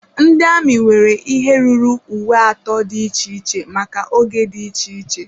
Ndị amị nwere ihe ruru uwe atọ dị iche iche maka oge dị iche iche.